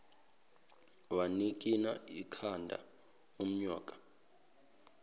wanikina ikhanda unyoka